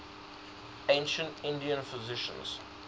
ancient indian physicians